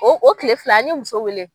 O o kile fila an ye muso wele.